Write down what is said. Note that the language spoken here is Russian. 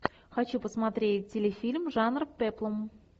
хочу посмотреть телефильм жанр пеплум